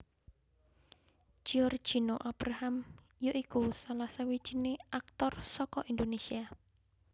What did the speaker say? Giorgino Abraham ya iku salah sawijiné aktor saka Indonesia